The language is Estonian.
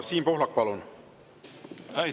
Siim Pohlak, palun!